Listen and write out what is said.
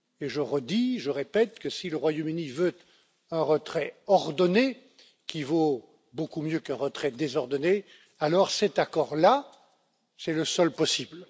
Je redis et je répète que si le Royaume Uni veut un retrait ordonné qui vaut beaucoup mieux qu'un retrait désordonné, alors cet accord là, c'est le seul possible.